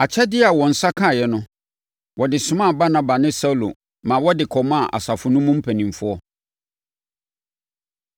Akyɛdeɛ a wɔn nsa kaeɛ no, wɔde somaa Barnaba ne Saulo maa wɔde kɔmaa asafo no mu mpanimfoɔ.